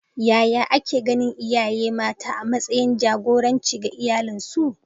Yaya ake ganin iyaye mata a matsayin da jagoranci ga iyalansu?